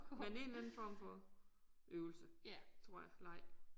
Men en eller anden form for øvelse tror jeg leg